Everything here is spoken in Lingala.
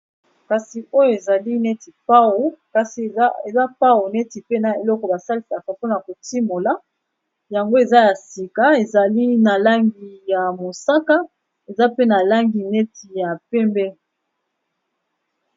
Kasi oyo ezali neti pao kasi eza pao neti pe na eloko basalisaka mpona kotimola yango eza ya sika ezali na langi ya mosaka eza pe na langi neti ya pembe.